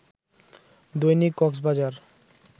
Dainik Cox's Bazar